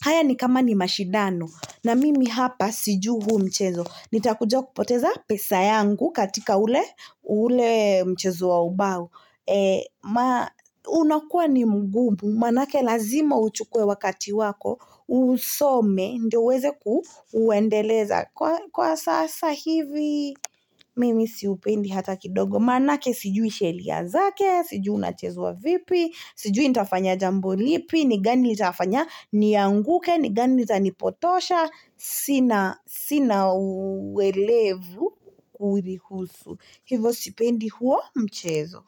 Haya ni kama ni mashidano, na mimi hapa sijui huu mchezo. Nitakuja kupoteza pesa yangu katika ule mchezo wa ubao. Unakuwa ni mgumu. Manake lazima uchuwe wakati wako. Uusome. Ndio uweze kuuendeleza. Kwa sasa hivi, mimi siupendi hata kidogo. Manake sijui sheria zake. Sijui unachezwa vipi. Sijui nitafanya jambo lipi. Ni gani litafanya nianguke. Ni gani litanipotosha sina Sina uwelevu kurihusu hivo sipendi huo mchezo.